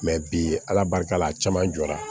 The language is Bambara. bi ala barika la a caman jɔra